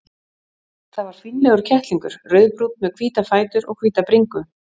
Það var fínlegur kettlingur, rauðbrúnn með hvíta fætur og hvíta bringu.